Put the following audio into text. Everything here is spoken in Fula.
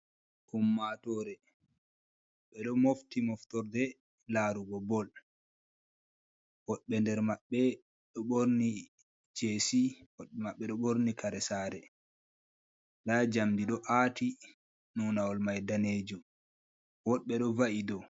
Ummatore ɓe ɗo mofti moftorɗe larugo ɓol ,woɓɓe nder maɓɓe ɗo ɓorni jesi woɓɓe maɓɓe ɗo ɓorni kare sare ,ɗa jamɗi ɗo ati nonawol mai ɗanejum woɓɓe do va’i ɗo.